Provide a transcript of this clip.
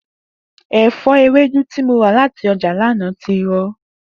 È̩fó̩ ewédú tí mo rà láti o̩jà lánàá ti ro̩